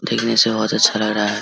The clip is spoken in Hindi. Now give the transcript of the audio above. दिल्ली से बोहोत अच्छा लग रहा है।